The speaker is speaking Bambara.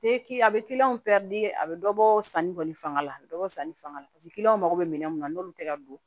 a bɛ a bɛ dɔ bɔ sani bɔ ni fanga la a bɛ dɔ bɔ sanni fanga la paseke mago bɛ min na n'olu tɛ ka don